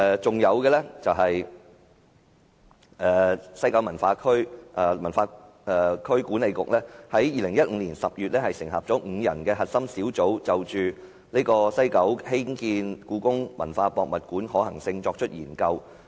此外，西九文化區管理局於2015年10月成立5人核心小組，就在西九興建故宮館的可行性作出研究。